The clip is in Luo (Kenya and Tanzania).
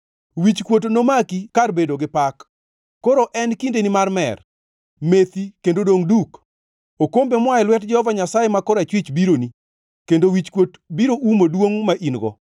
Wichkuot nomaki kar bedo gi pak. Koro en kindeni mar mer! Methi kendo dongʼ duk! Okombe moa e lwet Jehova Nyasaye ma korachwich bironi, kendo wichkuot biro umo duongʼ ma in-go.